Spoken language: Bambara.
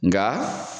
Nka